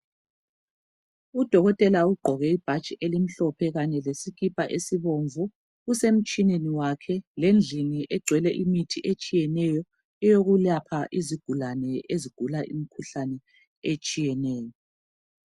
Udokotela ugqoke ibhatshi elimhlophe kanye lesikipa esibomvu. Usemtshineni wakhe lendlini egcwele imithi etshiyeneyo eyokulapha izigulane ezigula imikhuhlane etshiyeneyo.